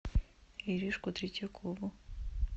иришку третьякову